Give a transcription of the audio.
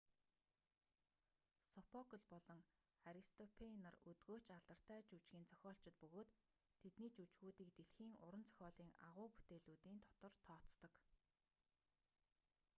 сопокл болон аристопэйн нар өдгөө ч алдартай жүжгийн зохиолчид бөгөөд тэдний жүжгүүдийг дэлхийн уран зохиолын агуу бүтээлүүдийн дотор тооцдог